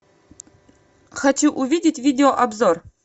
хочу увидеть видео обзор